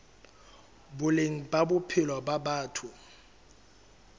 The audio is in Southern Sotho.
boleng ba bophelo ba batho